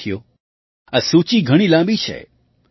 સાથીઓ આ સૂચિ ઘણી લાંબી છે